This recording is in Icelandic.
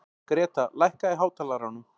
Greta, lækkaðu í hátalaranum.